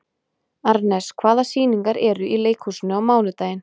Arnes, hvaða sýningar eru í leikhúsinu á mánudaginn?